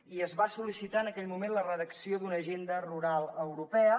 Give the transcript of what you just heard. i es va sol·licitar en aquell moment la redacció d’una agenda rural europea